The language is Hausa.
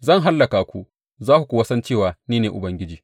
Zan hallaka ku, za ku kuwa san cewa ni ne Ubangiji.’